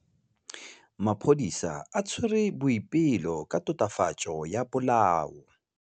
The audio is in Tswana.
Maphodisa a tshwere Boipelo ka tatofatsô ya polaô.